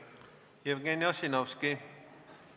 Jevgeni Ossinovski, palun!